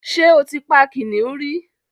Ṣé o ti pa kìnnìún rí?